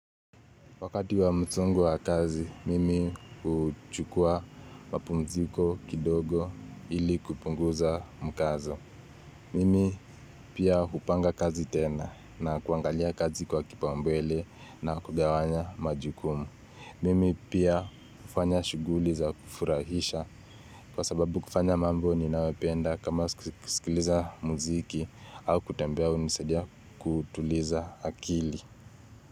Wakati wa msongo wa kazi, mimi huchukua mapumziko kidogo ili kupunguza mkazo. Mimi pia hupanga kazi tena na kuangalia kazi kwa kipaumbele na kugawanya majukumu. Mimi pia hufanya shughuli za kufurahisha kwa sababu kufanya mambo ninayopenda kama kusikiliza muziki au kutembea hunisadia kutuliza akili.